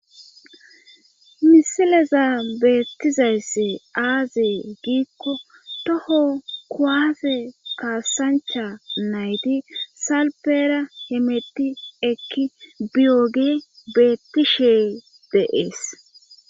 misileza beettizayss aazee giikko toho kuwase kaasancha nayti salpera hemetti ekki biyogi beettishe dee'es